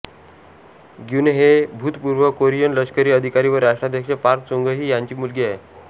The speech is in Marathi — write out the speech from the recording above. ग्युनहे भूतपूर्व कोरियन लष्करी अधिकारी व राष्ट्राध्यक्ष पार्क चुंगही ह्याची मुलगी आहे